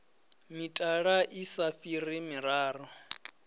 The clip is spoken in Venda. mitala i sa fhiri miraru